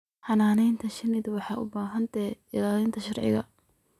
Xannaanada shinnidu waxay u baahan tahay ilaalin sharci.